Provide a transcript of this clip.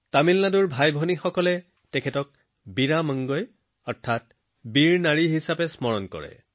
তামিলনাডুৰ মোৰ ভাইভনীসকলে এতিয়াও তেওঁক বীৰা মাংগাই অৰ্থাৎ বীৰ নাৰী বুলি মনত পেলাইছে